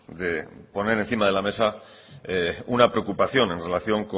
de poner encima de la mesa una preocupación en relación